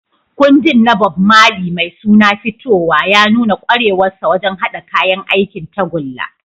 Kundin na Bob Marley mai suna "Fitowa" ya nuna kwarewarsa wajen haɗa kayan aikin tagulla.